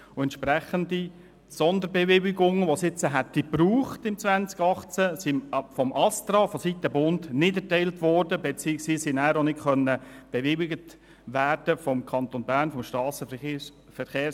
Entsprechende Sonderbewilligungen, die es jetzt im Jahr 2018 gebraucht hätte, wurden vom ASTRA nicht erteilt beziehungsweise konnten vom SVSA nicht bewilligt werden.